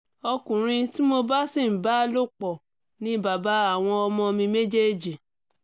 ọkùnrin tí mo bá sì ń bá lòpọ̀ ni bàbá àwọn ọmọ mi méjèèjì